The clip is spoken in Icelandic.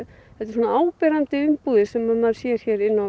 svona áberandi umbúðir sem maður sér hér inni á